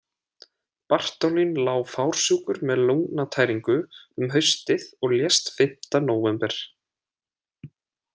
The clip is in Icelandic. Bartholín lá fársjúkur með lungnatæringu um haustið og lést fimmta nóvember.